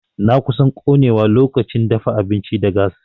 Na kusan konewa lokacin dafa abinci da gas.